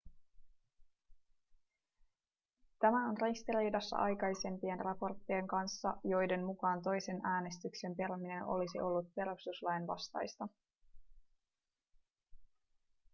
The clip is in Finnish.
tämä on ristiriidassa aikaisempien raporttien kanssa joiden mukaan toisen äänestyksen peruminen olisi ollut perustuslain vastaista